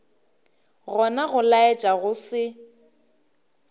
gona go laetša go se